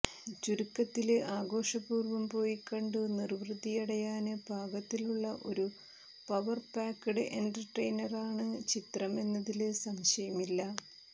ചുരുക്കത്തില് ആഘോഷപൂര്വം പോയിക്കണ്ടു നിര്വൃതിയടയാന് പാകത്തിലുള്ള ഒരു പവര് പാക്ക്ഡ് എന്റര്ടെയിനറാണ് ചിത്രം എന്നതില് സംശയമില്ല